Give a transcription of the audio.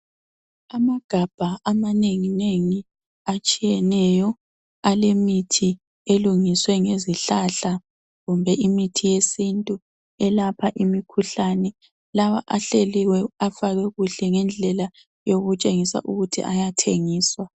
amagabha amanenginengi atshiyeneyo alemithi elungiswe ngezihlahla kumbe imithi yesintu elapha imikhuhlane lawa ahleliwe afakwe kuhle ngendlela yokutshengisa ukuthi ayathengisa